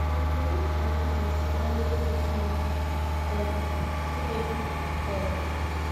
Ma, kedụ ka anyị ga-esi mara ihe kwesịrị um ime? um